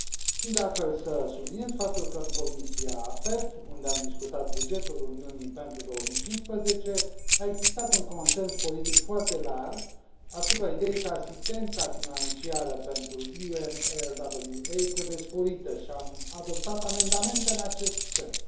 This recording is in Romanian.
Țin, de altfel, să subliniez faptul că în Comisia AFET, unde am discutat bugetul Uniunii pentru 2015, a existat un consens politic foarte larg asupra ideii că asistența financiară pentru UNRWA trebuie sporită și am adoptat amendamente în acest sens.